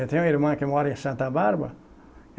Eu tenho uma irmã que mora em Santa Bárbara.